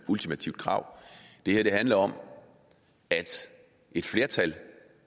ultimative krav det her handler om at et flertal